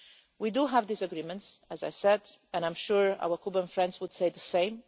We do have disagreements as I said, and I am sure our Cuban friends would say the same.